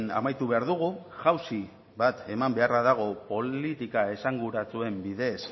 amaitu behar dugu jauzi bat eman beharra dago politika esanguratsuen bidez